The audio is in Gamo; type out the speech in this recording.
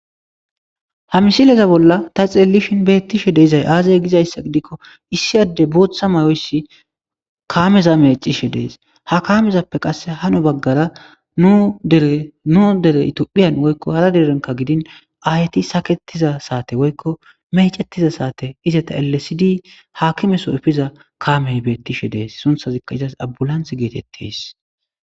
Ha misileza bolla ta xeellishin beettishe deizay aazay gizayssa gidikko issi adde booththa mayoyssi kaameza mecishe dees ha kaamezappe qasse hano baggara dnu dere itophiyan woykko hara derenka gidin aayyti saketiza saate woykko mecettiza saate iza ta elesidi haakime soyfiza kaamey beettishe dees sunthazikka izas abulanth geetettes.